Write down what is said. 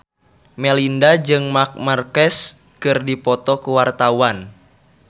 Melinda jeung Marc Marquez keur dipoto ku wartawan